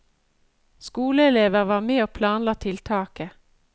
Skoleelever var med og planla tiltaket.